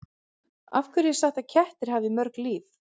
Af hverju er sagt að kettir hafi mörg líf?